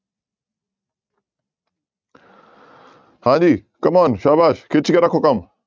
ਹਾਂਜੀ come-on ਸਾਬਾਸ਼ ਖਿੱਚ ਕੇ ਰੱਖੋ ਕੰਮ।